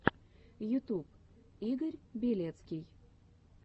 ютуб игорь белецкий